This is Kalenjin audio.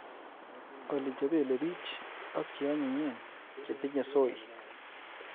Olly chepelepich ak cheanyinyen chetinye soy.